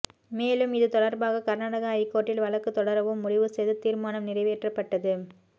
மேலும் இது தொடர்பாக கர்நாடக ஐகோர்ட்டில் வழக்கு தொடரவும் முடிவு செய்து தீர்மானம் நிறைவேற்றப்பட்டது